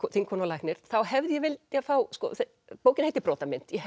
þingkona og læknir þá hefði ég viljað fá sko bókin heitir Brotamynd ég